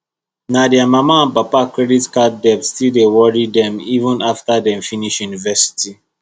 na their mama and papa credit card debt still dey worry dem even after dem finish university